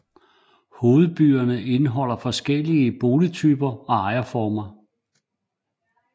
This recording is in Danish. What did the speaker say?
Hovedbyerne indeholder flere forskellige boligtyper og ejerformer